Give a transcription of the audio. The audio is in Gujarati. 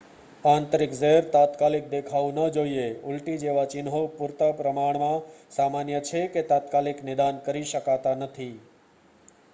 આંતરિક ઝેર તાત્કાલિક દેખાવું ન જોઈએ ઊલટી જેવા ચિહ્નો પૂરતા પ્રમાણમાં સામાન્ય છે કે તાત્કાલિક નિદાન કરી શકાતા નથી